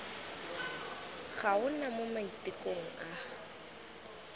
ga ona mo maitekong a